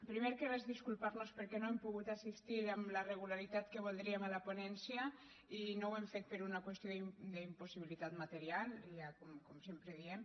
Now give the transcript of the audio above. primer que res disculpar nos perquè no hem pogut assistir amb la regularitat que hauríem volgut a la ponència i no ho hem fet per una qüestió d’impossibilitat material com sempre diem